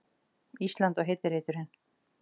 Ísland og heiti reiturinn.